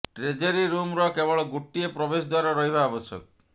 treasury ରୁମର କେବଳ ଗୋଟିଏ ପ୍ରବେଶ ଦ୍ବାର ରହିବା ଆବଶ୍ୟକ